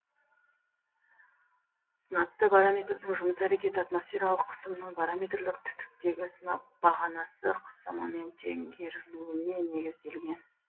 сынапты барометрдің жұмыс әрекеті атмосфералық қысымның барометрлік түтіктегі сынап бағанасы қысымымен теңгерілуіне негізделген